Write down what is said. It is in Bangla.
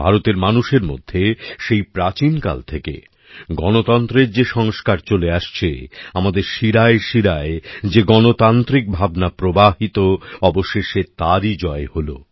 ভারতের মানুষের মধ্যে সেই প্রাচীন কাল থেকে গণতন্ত্রের যে সংস্কার চলে আসছে আমাদের শিরায়শিরায় যে গণতান্ত্রিক ভাবনা প্রবাহিত অবশেষে তারই জয় হল